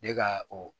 Ne ka o